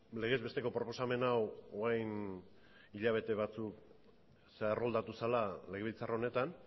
legez besteko proposamen hau orain hilabete batzuk erroldatu zela legebiltzar honetan